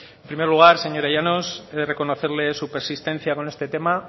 en primer lugar señora llanos he de reconocerle su persistencia con este tema